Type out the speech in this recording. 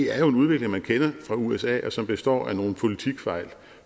er jo en udvikling man kender fra usa og som består af nogle politikfejl